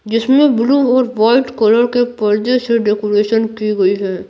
जिसमें ब्लू और white colour के पर्दे से डेकोरेशन की गई है।